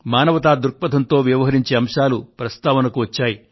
మానవతా దృక్పథంతో వ్యవహరించే అంశాలు ప్రస్తావనకు వచ్చాయి